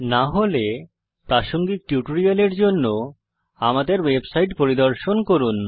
না হলে প্রাসঙ্গিক টিউটোরিয়ালের জন্য আমাদের ওয়েবসাইট পরিদর্শন করুন